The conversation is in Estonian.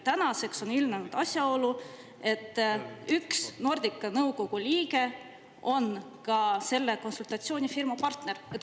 Tänaseks on ilmnenud asjaolu, et üks Nordica nõukogu liige on selle konsultatsioonifirma partner.